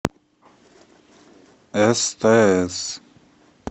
стс